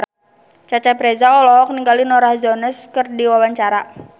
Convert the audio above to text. Cecep Reza olohok ningali Norah Jones keur diwawancara